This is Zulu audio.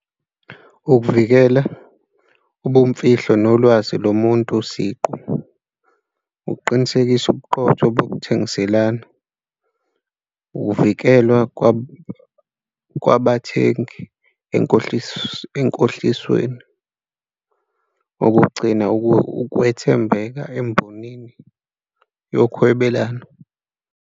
Ukuvikela ubumfihlo nolwazi lomuntu siqu ukuqinisekisa, ubuqotho bokuthengiselana, ukuvikelwa kwabathengi enkohlisweni ukugcina ukwethembeka embonini yokuhwebelana.